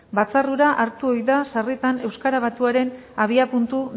batzar hura hartu ohi da sarritan euskara batuaren abiapuntu